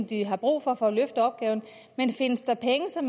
de har brug for for at løfte opgaven men findes der penge som